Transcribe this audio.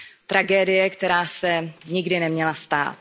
Tragédie, která se nikdy neměla stát.